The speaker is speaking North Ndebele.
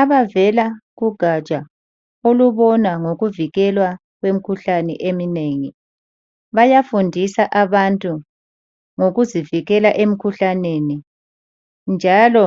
Abavela kugaja olubona ngokuvikelwa kwemikhuhlane eminengi bayafundisa abantu ngokuzivikela emkhuhlaneni njalo